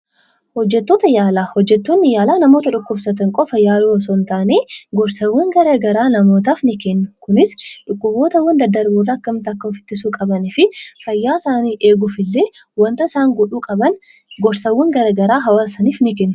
Hojjettoota yaalaa: Hojjettoonni yaalaa namoota dhukkubsatan qofa yaaluu osoo hin taane, gorsawwan gara garaa namootaaf ni kennu. Kunis dhukkubootawwan daddarboo irraa akkamitti of ittisuu qabanii fi fayyaa isaanii eeguufillee waanta isaan godhuu qaban gorsawwan gara garaa hawaasa isaaniif ni kennu.